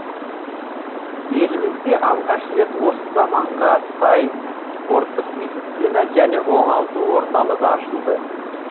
елімізде алғаш рет осы заманға сай спорттық медицина және оңалту орталығы ашылды